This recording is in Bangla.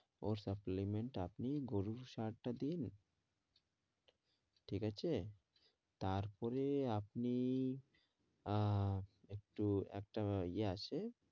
ওর supplement আপনি গরুর সার টা দিয়ে ঠিক আছে তার পরে আপনি আহ একটু একটা ইয়ে আছে